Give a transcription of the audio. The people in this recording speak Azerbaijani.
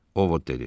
Ovod dedi.